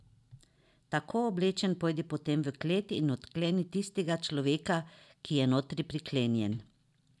Tako oblečen pojdi potem v klet in odkleni tistega človeka, ki je notri priklenjen.